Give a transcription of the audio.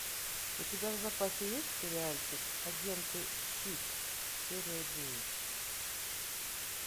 у тебя в запасе есть сериальчик агенты щит серия девять